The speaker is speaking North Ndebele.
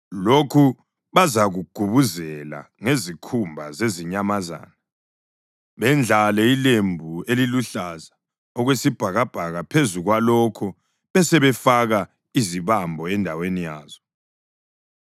Lokhu bazakugubuzela ngezikhumba zezinyamazana, bendlale ilembu eliluhlaza okwesibhakabhaka phezu kwalokho besebefaka izibambo endaweni yazo.